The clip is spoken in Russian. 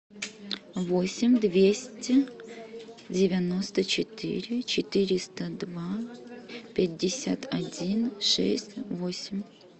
восемь двести девяносто четыре четыреста два пятьдесят один шесть восемь